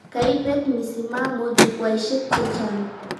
Kaibet misimamo Jukwaishek chechang